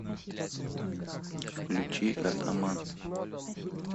включи атаман